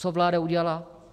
Co vláda udělala?